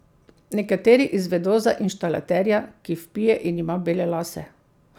Nekateri izvedo za inštalaterja, ki vpije in ima bele lase.